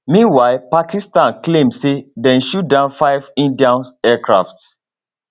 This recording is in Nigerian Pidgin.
meanwhile pakistan claim say dem shoot down five indian aircraft